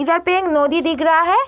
यहाँ पे एक नोदी दिख रहा है |